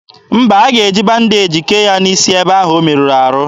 Mba, a ga-eji bandeji kee ya n'isi ebe ahụ o merụrụ ahụ.